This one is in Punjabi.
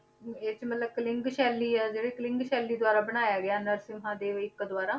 ਇਹ 'ਚ ਮਤਲਬ ਕਲਿੰਗ ਸ਼ੈਲੀ ਆ ਜਿਹੜੀ ਕਲਿੰਗ ਸ਼ੈਲੀ ਦੁਆਰਾ ਬਣਾਇਆ ਗਿਆ ਨਰਸਿੰਮਾ ਦੇ ਦੁਆਰਾ